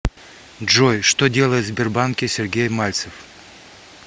джой что делает в сбербанке сергей мальцев